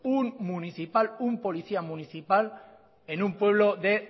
un municipal un policía municipal en un pueblo de